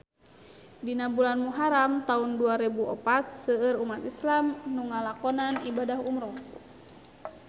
Dina bulan Muharam taun dua rebu opat seueur umat islam nu ngalakonan ibadah umrah